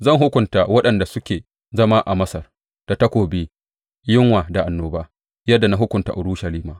Zan hukunta waɗanda suke zama a Masar da takobi, yunwa da annoba, yadda na hukunta Urushalima.